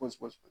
Pɔsi